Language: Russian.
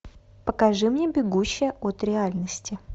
покажи мне бегущая от реальности